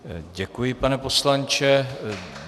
Děkuji, pane poslanče.